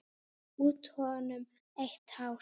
Út úr honum eitt hár.